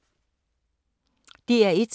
DR1